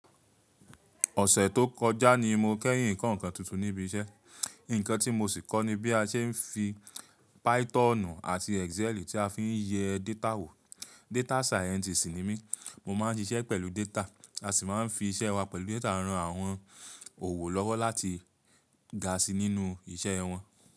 Ọ̀sẹ̀ tó kọjá ni mo kẹ́yìn nǹkan kan tuntun níbi iṣẹ́. Ǹkan tí mo sì kọ́ ni bí a ṣe ń fi Pythonù àti Excel tí a fi ń yẹ data wò. Data Scientist ni mí, mo máa ń ṣiṣẹ́ pẹ̀lú data, a sì máa ń fi iṣẹ́ wa pẹ̀lú data rán àwọn òwò lọ́wọ́ láti ga si nínú iṣẹ́ wọn.